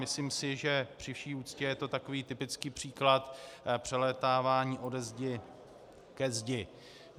Myslím si, že při vši úctě je to takový typický příklad přelétávání ode zdi ke zdi.